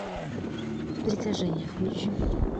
притяжение включи